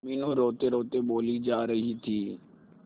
मीनू रोतेरोते बोली जा रही थी